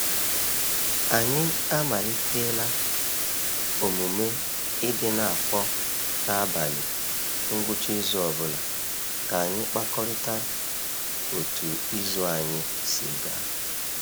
Anyị amalitela omume i di n'akpọ n'abalị ngwucha izu ọbụla ka anyị kpakorịa otu izu anyị si ga.